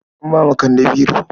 An ba wa kande biro.